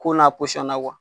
Ko n'a na